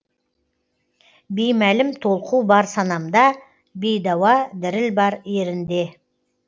беймәлім толқу бар санамда бейдауа діріл бар ерінде